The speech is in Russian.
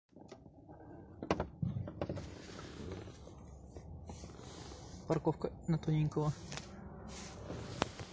парковка на тоненького